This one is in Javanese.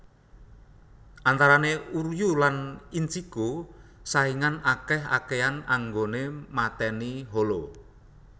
Antarane Uryuu lan Ichigo saingan akeh akehan anggoné matèni hollow